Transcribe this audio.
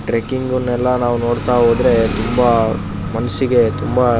trekking ನೆಲ್ಲ ನೋಡತಾ ಹೋದ್ರೆ ತುಂಬಾ ಮನ್ಸಿಗೆ ತುಂಬಾ--